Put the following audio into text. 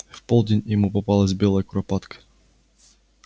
в полдень ему попалась белая куропатка